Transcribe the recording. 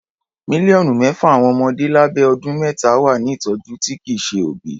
Mílíọ̀nù mẹ́fà àwọn ọmọdé lábẹ́ ọdún mẹ́ta wà ní ìtọjú tí kìí ṣe òbí.